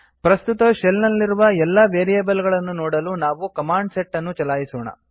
ಪ್ರಸ್ತುತ ಶೆಲ್ ನಲ್ಲಿರುವ ಎಲ್ಲಾ ವೇರಿಯೇಬಲ್ ಗಳನ್ನು ನೋಡಲು ನಾವು ಕಮಾಂಡ್ ಸೆಟ್ ಅನ್ನು ಚಲಾಯಿಸೋಣ